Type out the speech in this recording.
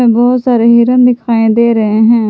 बहुत सारे हिरन दिखाई दे रहे हैं।